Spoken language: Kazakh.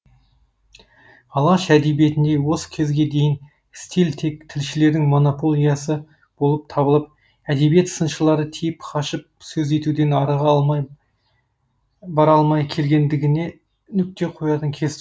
алаш әдебиетінде осы кезге дейін стиль тек тілшілердің монополиясы болып табылып әдебиет сыншылары тиіп қашып сөз етуден арыға бара алмай келгендігіне нүкте қоятын кез